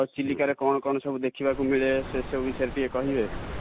ଆଉ ଚିଲିକା ରେ କଣ କଣ ସବୁ ଦେଖିବାକୁ ମିଳେ ସେ ସବୁ ବିଷୟ ରେ ଟିକେ କହିବେ